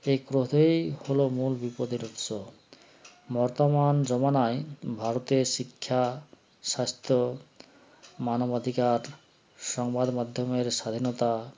এই ক্রোধই হলো মূল বিপদের উৎস মর্তমান জমানায় ভারতের শিক্ষা স্বাস্থ্য মানবাধিকার সংবাদ মাধ্যমের স্বাধীনতা